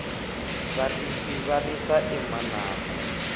varisi va risa emananga